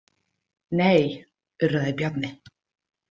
Nei, urraði Bjarni.